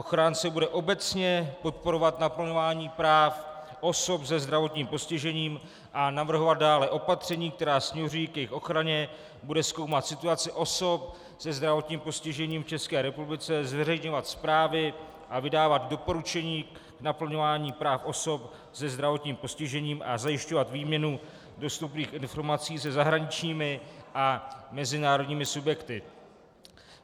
Ochránce bude obecně podporovat naplňování práv osob se zdravotním postižením a navrhovat dále opatření, která směřují k jejich ochraně, bude zkoumat situaci osob se zdravotním postižením v České republice, zveřejňovat zprávy a vydávat doporučení k naplňování práv osob se zdravotním postižením a zajišťovat výměnu dostupných informací se zahraničními a mezinárodními subjekty.